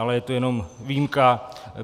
Ale je to jenom výjimka.